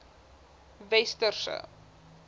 westerse